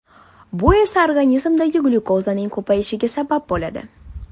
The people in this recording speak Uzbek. Bu esa organizmda glyukozaning ko‘payishiga sabab bo‘ladi.